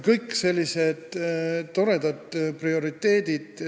Kõik on sellised toredad prioriteedid.